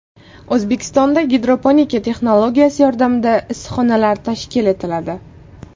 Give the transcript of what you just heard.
O‘zbekistonda gidroponika texnologiyasi yordamida issiqxonalar tashkil etiladi.